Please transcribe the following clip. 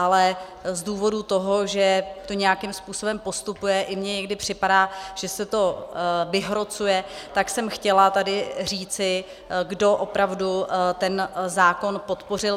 Ale z důvodu toho, že to nějakým způsobem postupuje, i mně někdy připadá, že se to vyhrocuje, tak jsem chtěla tady říci, kdo opravdu ten zákon podpořil.